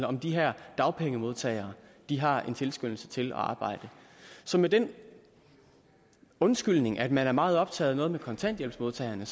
om de her dagpengemodtagere har en tilskyndelse til at arbejde så med den undskyldning at man er meget optaget af noget med kontanthjælpsmodtagerne